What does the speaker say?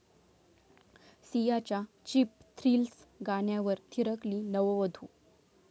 सियाच्या 'cheap thrills' गाण्यावर थिरकली नववधू